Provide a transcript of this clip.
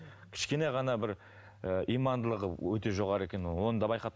кішкене ғана бір ы имандылығы өте жоғары екен онды да